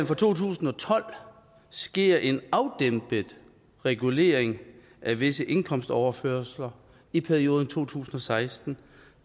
for to tusind og tolv sker en afdæmpet regulering af visse indkomstoverførsler i perioden to tusind og seksten